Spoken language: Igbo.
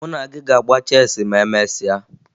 Mụ na gị ga-agba cheesị ma emesịa